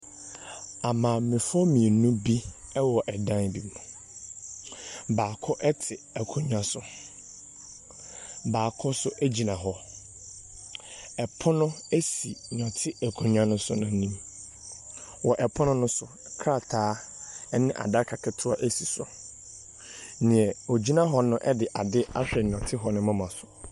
Amaamefoɔ mmienu bi wɔ dan bi mu. Baako te akonnwa so. Baako nso gyina hɔ. Pono si deɛ ɔte akonnwa no so no anim. Wɔ pono no so, krataa ne adaka ketewa si so. Deɛ ɔgyina hɔ no de adeɛ ahwɛ deɛ ɔte hɔ no moma so.